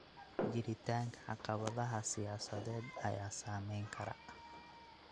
Jiritaanka caqabadaha siyaasadeed ayaa saameyn kara.